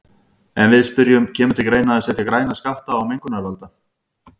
En við spyrjum, kemur til greina að setja græna skatta á mengunarvalda?